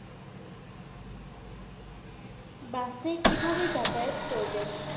bus কিভাবে যাতায়াত করবেন